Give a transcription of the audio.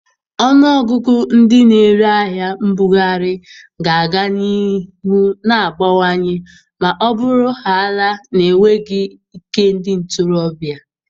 Ọnụọgụ ndị na-ere ahịa mbughari ga-aga n'ihu na-abawanye ma ọ bụrụhaala na enweghị ike ndị ntorobịa.